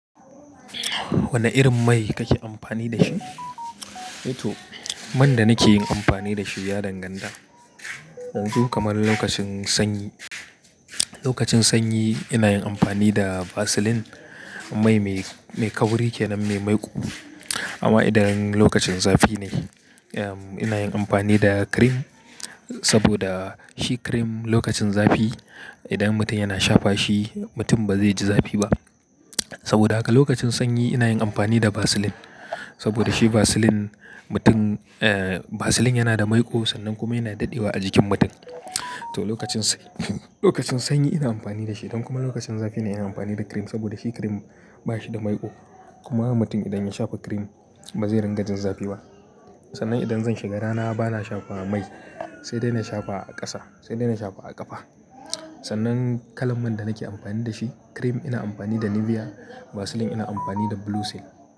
Wane irin mai kake amfani da shi? To, man da nake yin amfani da shi ya dan ganta. Yanzu kamar lokacin sanyi, lokacin sanyi ina yin amfani da vaseline. Mai mai, mai kauri kenan, mai maiƙo. Amma idan lokacin zafi ne, ehm, ina yin amfani da cream. Saboda shi cream lokacin zafi idan mutum yana shafa shi, mutum ba zai ji zafi ba. Saboda haka lokacin sanyi ina yin amfani da vaseline. Saboda shi vaseline mutum, eh, vaseline yana da maiƙo sannan kuma yana daɗewa a jikin mutum. To, lokacin sanyi, lokacin sanyi ina amfani da shi idan kuma lokacin zafi ina yin amfani da cream. Saboda shi cream ba shi da maiƙo. Kuma mutum idan ya shafa cream ba zai ringa jin zafi ba. Sannan idan zan shiga rana bana shafa mai sai dai na shafa a ƙasa, sai dai na shafa a ƙafa. Sannan kalan man da nake amfani da shi, cream ina amfani da Nivea, vaseline ina amfani da Blue Seal.